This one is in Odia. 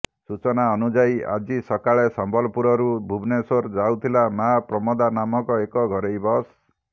ସୂଚନା ଅନୁଯାୟୀ ଆଜି ସକାଳେ ସମ୍ବଲପୁରରୁ ଭୁବନେଶ୍ବର ଯାଉଥିଲା ମା ପ୍ରମୋଦା ନାମକ ଏକ ଘରୋଇ ବସ୍